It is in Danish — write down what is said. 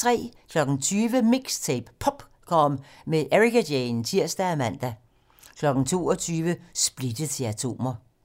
20:00: MIXTAPE - POPcorn med Ericka Jane (tir og man) 22:00: Splittet til atomer